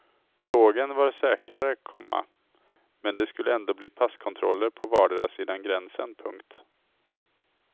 Tåget var säkrare, komma men det skulle ändå bli passkontroller på vardera sidan gränsen. punkt